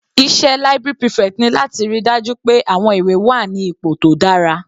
Iṣẹ́ library prefect ni láti ríi dájú pé àwọn ìwé wà ní ipò tó dára.